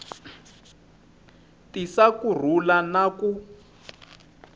tisa ku rhula na ku